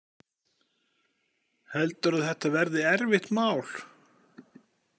Heldurðu að þetta verði erfitt mál?